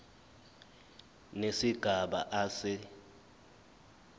nesigaba a se